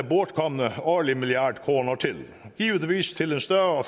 bortkomne årlige milliard kroner til givetvis til en større